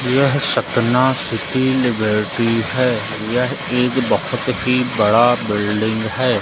यह स्तना सुशील लिबर्टी है यह एक बहुत ही बड़ा बिल्डिंग है।